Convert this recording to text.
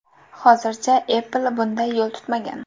Hozircha Apple bunday yo‘l tutmagan.